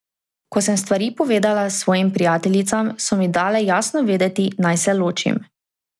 Ko sem stvari povedala svojim prijateljicam, so mi dale jasno vedeti, naj se ločim.